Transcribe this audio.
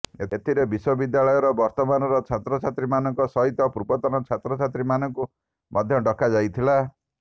ଏଥିରେ ବିଶ୍ୱବିଦ୍ୟାଳୟର ବର୍ତ୍ତମାନର ଛାତ୍ରଛାତ୍ରୀମାନଙ୍କ ସହିତ ପୂର୍ବତନ ଛାତ୍ରଛାତ୍ରୀମାନଙ୍କୁ ମଧ୍ୟ ଡାକାଯାଇଥିଲା